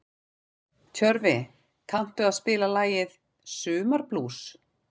Tjörfi, kanntu að spila lagið „Sumarblús“?